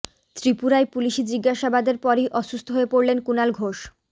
ত্রিপুরায় পুলিশি জিজ্ঞাসাবাদের পরই অসুস্থ হয়ে পড়লেন কুণাল ঘোষ